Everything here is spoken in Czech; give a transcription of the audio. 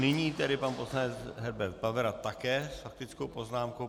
Nyní tedy pan poslanec Herbert Pavera také s faktickou poznámkou.